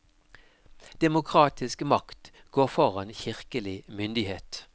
Demokratisk makt går foran kirkelig myndighet.